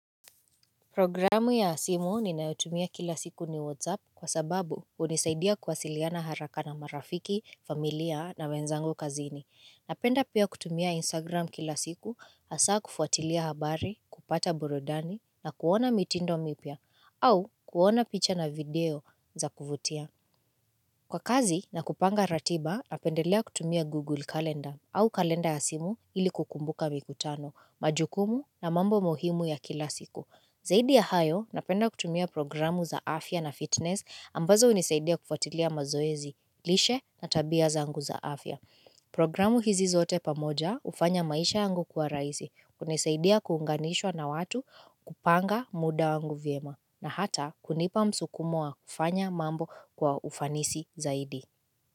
Programu ya simu ninayotumia kila siku ni Whatsapp kwa sababu hunisaidia kuwasiliana haraka na marafiki, familia na wenzangu kazini. Napenda pia kutumia Instagram kila siku, hasa kufuatilia habari, kupata burudani na kuona mitindo mipya au kuona picha na video za kuvutia. Kwa kazi na kupanga ratiba, napendelea kutumia Google calendar au kalenda ya simu ili kukumbuka mikutano, majukumu na mambo muhimu ya kila siku. Zaidi ya hayo napenda kutumia programu za afya na fitness ambazo hunisaidia kufatilia mazoezi, lishe na tabia zangu za afya. Programu hizi zote pamoja hufanya maisha yangu kuwa rahisi, hunisaidia kuunganishwa na watu kupanga muda wangu vyema na hata kunipa msukumo wa kufanya mambo kwa ufanisi zaidi.